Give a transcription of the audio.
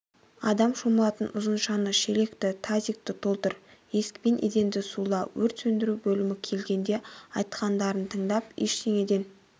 адам шомылатын ұзыншаны шелекті тазикті толтыр есікпен еденді сула өрт сөндіру бөлімі келгенде айтқандарын тыңдап ештеңеден